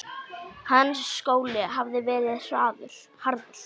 Hans skóli hafði verið harður.